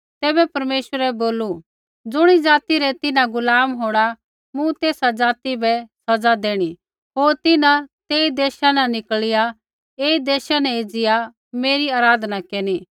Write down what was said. तैबै परमेश्वरै बोलू ज़ुणी ज़ाति रै तिन्हां गुलाम होंणा मूँ तेसा ज़ाति बै सज़ा देणी होर तिन्हां तेई देशा न निकल़िया ऐई देशा न एज़िया मेरी आराधना केरनी